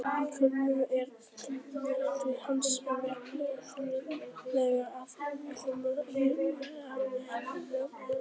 Í kjarnorkuverum er keðjuverkuninni hins vegar stýrt þannig að hæfileg orka er framleidd án sprengingar.